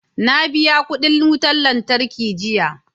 Na biya kudin wutar lantarki jiya